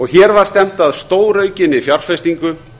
hér var stefnt að stóraukinni fjárfestingu